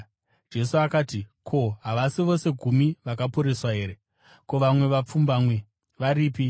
Jesu akati, “Ko, havasi vose gumi vakaporeswa here? Ko, vamwe vapfumbamwe varipi?